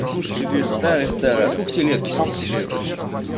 послушай ты говоришь старая старая а сколько тебе лет если не секрет вообще